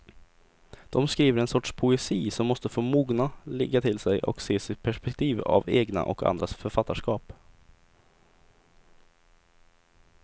De skriver en sorts poesi som måste få mogna, ligga till sig och ses i perspektiv av egna och andras författarskap.